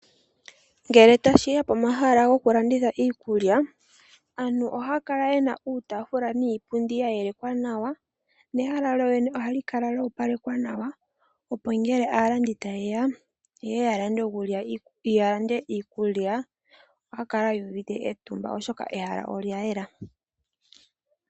Ngele ta shi ya pomahala go ku landitha iikulya, aantu oha ya kala yena iitafula niipundi ya yeleka nawa, nehala lyolyene oha li kala lya yelekwa nawa, nongele aantu ta ye ya lande iikulya, oha ya kala yu uvite, etumba oshoka ehala olya yela.